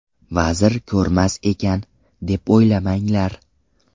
Vazir ko‘rmas ekan, deb o‘ylamanglar.